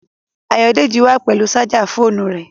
Ayòdélẹ̀ wà pẹ̀lú sájà fọ̀ọ̣̀nú rẹ.